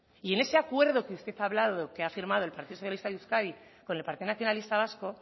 y en ese acuerdo que usted hablado que ha firmado el partido socialista de euskadi con el partido nacionalista vasco